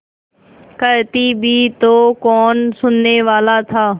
कहती भी तो कौन सुनने वाला था